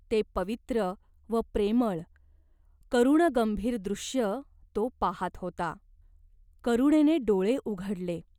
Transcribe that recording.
ते पवित्र व प्रेमळ, करुणगंभीर दृश्य तो पाहात होता. करुणेने डोळे उघडले.